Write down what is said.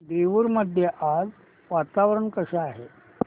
देऊर मध्ये आज वातावरण कसे आहे